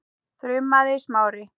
þrumaði Smári.